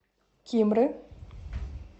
кимры